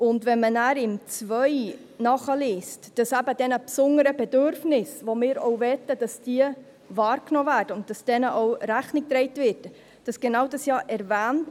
Liest man im Absatz 2 nach, werden genau diese besonderen Bedürfnisse, die nach unserer Meinung wahrgenommen werden sollen und denen Rechnung getragen werden soll, erwähnt.